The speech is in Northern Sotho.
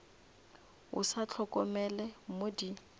o sa hlokomele mo di